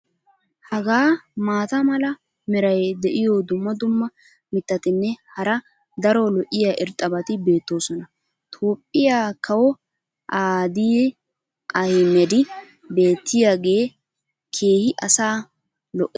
Haga maata mala meray diyo dumma dumma mitatinne hara daro lo'iya irxxabati beetoosona. toophphiya kawoy aadiyi ahimmedi beetiyaagee keehi asaa lo'ees.